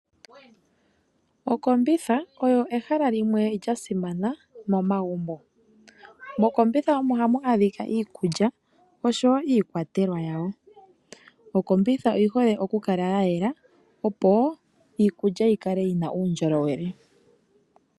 Okombitha oyo ehala limwe lya simana momagumbo. Mokombitha omo hamu adhika iikulya oshowo iikwatelwa yawo. Okombitha oyi hole oku kala ya yela opo iikulya yi kale yi na uundjolowele.